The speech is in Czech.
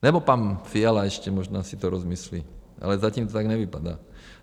Nebo pan Fiala ještě možná si to rozmyslí, ale zatím to tak nevypadá.